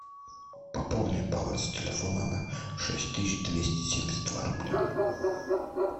пополни баланс телефона на шесть тысяч двести семьдесят два рубля